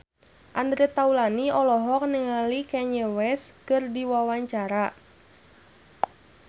Andre Taulany olohok ningali Kanye West keur diwawancara